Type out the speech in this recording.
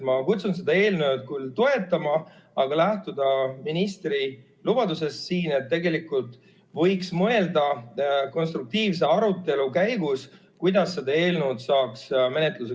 Ma kutsun seda eelnõu küll toetama, aga lähtuma ministri lubadusest, et tegelikult võiks mõelda konstruktiivse arutelu käigus, kuidas seda eelnõu saaks paremaks teha.